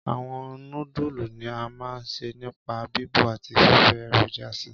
Àwọn nódùlù ni a ma n se nipa bíbọ̀ àti fífi èròjà si.